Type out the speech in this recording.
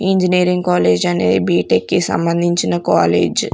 Engineering college అనే BTech కి సంబంధించిన కాలేజ్ .